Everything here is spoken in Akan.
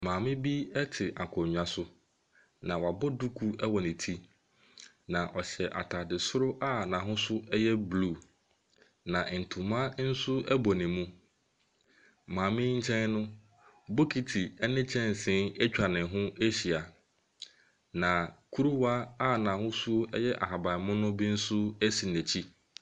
Maame bi te akonnwa so, na wabɔ duku wɔ ne ti, na ɔhyɛ atade soro a n'ahosuo yɛ blue, na ntoma nso bɔ ne mu. Maame yi nkyɛn no, bokiti ne kyɛnsee atwa ne ho ahyia, na kuruwa a n'ahosuo yɛ ahaban mono bi nso si n'akyi.